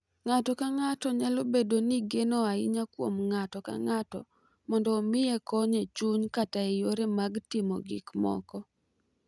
Ng’ato ka ng’ato nyalo bedo gi geno ahinya kuom ng’ato ka ng’ato mondo omiye kony e chuny kata e yore mag timo gik moko.